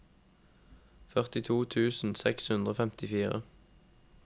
førtito tusen seks hundre og femtifire